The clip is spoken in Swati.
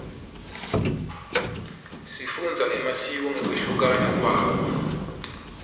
sifundza emasiko ngekuhluka kwawo